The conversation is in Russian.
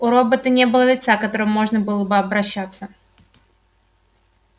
у робота не было лица к которому можно было бы обращаться